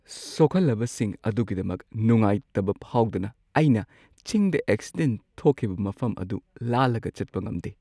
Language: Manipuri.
ꯁꯣꯛꯍꯜꯂꯕꯁꯤꯡ ꯑꯗꯨꯒꯤꯗꯃꯛ ꯅꯨꯡꯉꯥꯢꯇꯕ ꯐꯥꯎꯗꯅ ꯑꯩꯅ ꯆꯤꯡꯗ ꯑꯦꯛꯁꯤꯗꯦꯟꯠ ꯊꯣꯛꯈꯤꯕ ꯃꯐꯝ ꯑꯗꯨ ꯂꯥꯜꯂꯒ ꯆꯠꯄ ꯉꯝꯗꯦ ꯫